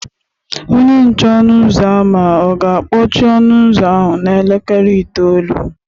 Onye nche ọnụ ụzọ ámá ọ̀ ga-akpọchi ọnụ ụzọ ahụ n’elekere itoolu?